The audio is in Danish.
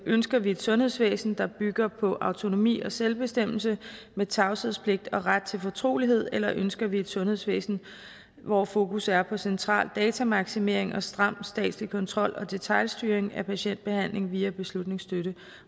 ønsker vi et sundhedsvæsen der bygger på autonomi og selvbestemmelse med tavshedspligt og ret til fortrolighed eller ønsker vi et sundhedsvæsen hvor fokus er på central datamaksimering og stram statslig kontrol og detailstyring af patientbehandling via beslutningsstøtte